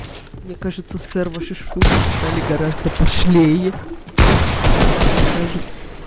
мне кажется сэр ваши шутки стали гораздо пошлее может мне кажется